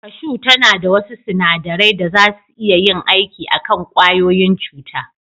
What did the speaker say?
Kashu tana da wasu sunadarai da zasu iya yin aiki a kan ƙwayoyin cuta.